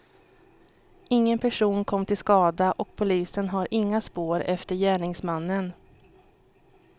Ingen person kom till skada och polisen har inga spår efter gärningsmannen.